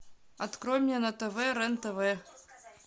открой мне на тв рен тв